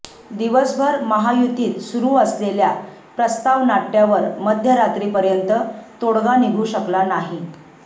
दिवसभर महायुतीत सुरू असलेल्या प्रस्तावनाट्यावर मध्यरात्रीपर्यंत तोडगा निघू शकला नाही